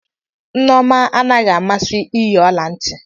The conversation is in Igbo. Nneoma anaghị amasị iyi ọla ntị.